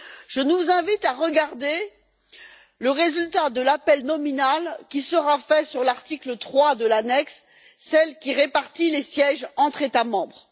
Je nous invite à regarder le résultat de l'appel nominal qui sera fait sur l'article 3 de l'annexe, celle qui répartit les sièges entre États membres.